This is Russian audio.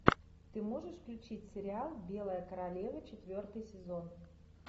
ты можешь включить сериал белая королева четвертый сезон